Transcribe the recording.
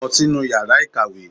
Lọ sínú yàrá ìkàwé!